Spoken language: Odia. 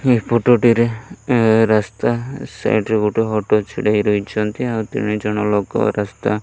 ଏହି ଫଟ ଟିରେ ଏ ରାସ୍ତା ସାଇଡ଼୍ ରେ ଗୋଟେ ଅଟ ଛିଡ଼ା ହେଇ ରହିଛନ୍ତି। ଆଉ ତିନି ଜଣ ଲୋକ ରାସ୍ତା --